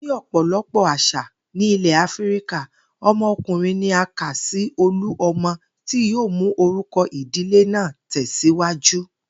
Ní ò̩pò̩lo̩pò̩ às̩à ní ilè̩ Áfíríkà, o̩mo̩kùnrin ni a ka sí olú o̩mo̩ tí yóò mú orúko̩ ìdílé náà tè̩síwájú